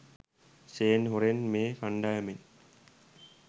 Shane හොරෙන් මේ කණ්ඩායමෙන්